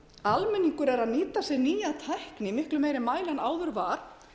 að almenningur er að nýta sér nýja tækni í miklu meiri mæli en áður var